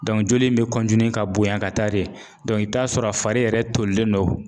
joli in bɛ ka bonya ka taa de i bɛ t'a sɔrɔ a fari yɛrɛ tolilen don